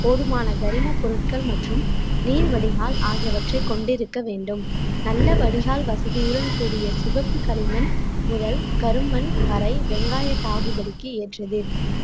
போதுமான கரிம பொருட்கள் மற்றும் நீர் வடிகால் ஆகியவற்றை கொண்டிருக்க வேண்டும் நல்ல வடிகால் வசதியுடன் கூடிய சிவப்பு களிமண் முதல் கருமண் வரை வெங்காய சாகுபடிக்கு ஏற்றது